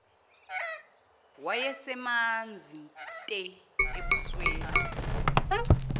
wayesemanzi te ebusweni